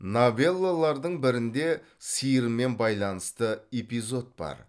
новеллалардың бірінде сиырмен байланысты эпизод бар